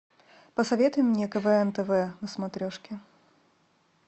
посоветуй мне квн тв на смотрешке